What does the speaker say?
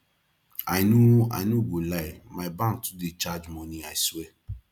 i no i no go lie my bank too dey charge money i swear